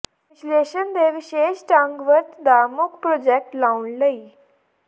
ਵਿਸ਼ਲੇਸ਼ਣ ਦੇ ਵਿਸ਼ੇਸ਼ ਢੰਗ ਵਰਤ ਦਾ ਮੁੱਖ ਪ੍ਰਾਜੈਕਟ ਲਾਉਣ ਲਈ